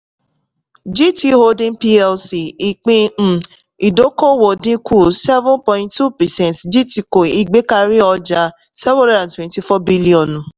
gt holding plc ìpín um ìdókòwò dínkù seven point two percent gtco ìgbékari ọjà seven hundred and twenty-four biliọ̀nù